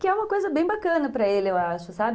Que é uma coisa bem bacana para ele, eu acho, sabe?